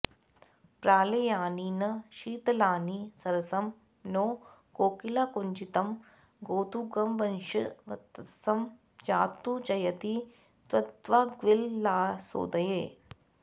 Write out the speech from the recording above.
प्रालेयानि न शीतलानि सरसं नो कोकिलाकूजितं गोधुग्वंशवतंस जातु जयति त्वद्वाग्विलासोदये